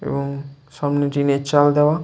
এবং সামনে টিনের চাল দেয়া।